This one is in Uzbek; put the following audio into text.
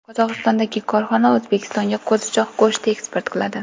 Qozog‘istondagi korxona O‘zbekistonga qo‘zichoq go‘shti eksport qiladi.